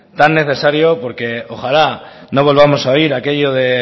tan necesario porque ojalá no volvamos a oír aquello de